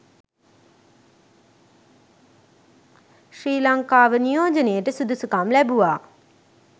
ශ්‍රී ලංකාව නියෝජනයට සුදුසුකම් ලැබුවා